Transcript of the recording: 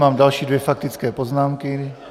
Mám další dvě faktické poznámky.